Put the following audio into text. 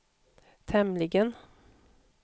tämligen